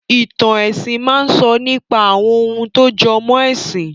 Ìtàn ẹ̀sìn máa sọ nípa àwọn ohun tó jọmọ́ ẹ̀sìn